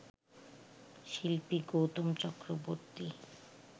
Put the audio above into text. শিল্পী গৌতম চক্রবর্তী